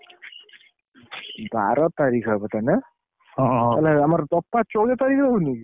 ବାର ତାରିଖ୍ ହବ ତାହେଲେ? ନାଇଁ ଆମର ଚଉଦ ତାରିଖରେ ହଉନିକି?